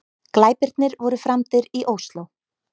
Glæpirnir voru framdir í Ósló